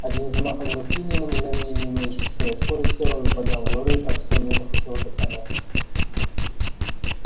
одним взмахом руки ни на мгновение не уменьшив своей скорости робби поднял глорию так что у нее захватило дыхание